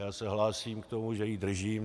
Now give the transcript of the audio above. Já se hlásím k tomu, že ji držím.